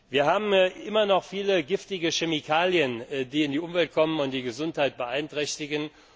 Wir haben immer noch viele giftige Chemikalien, die in die Umwelt gelangen und die Gesundheit beeinträchtigen.